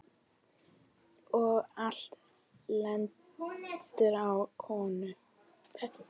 Og allt lendir á konum.